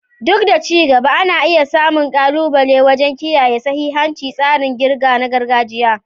Duk da ci gaba, ana iya samun ƙalubale wajen kiyaye sahihancin tsarin ƙirga na gargajiya.